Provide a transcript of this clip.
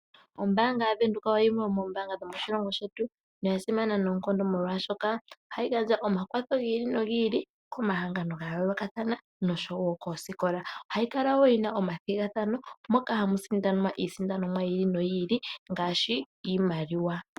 Ombaanga yavenduka oyo yimwe tomo mbaanga yasimana noonkondo molwaashoka ohayi gandja omakwatho gi ili no gi ili komahangano ga yoolokathana nosho woo koosikola. ohamu kala woo muna omathigathano moka hamu sindanwa iisindanomwa yi ili no yi ili ngaashi iimaliwa .